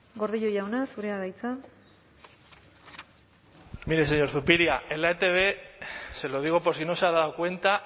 gordillo jauna zurea da hitza mire señor zupiria en la etb se lo digo por si no se ha dado cuenta